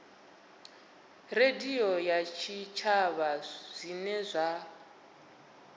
radio ya tshitshavha zwine zwa